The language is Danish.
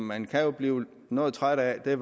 man kan blive noget træt af er